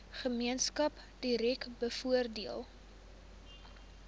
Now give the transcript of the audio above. gemeenskap direk bevoordeel